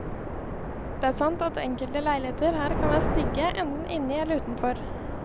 Det er sant at enkelte leiligheter her kan være stygge, enten inni eller utenfor.